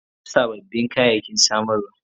Na kawo sabbin kayayyaki samarwa.